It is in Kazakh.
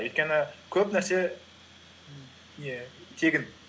өйткені көп нәрсе не тегін